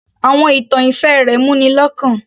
Àwọn ìtàn ìfẹ́ rẹ̀ mú ni lọ́kàn